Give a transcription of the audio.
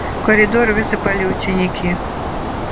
в коридор высыпали ученики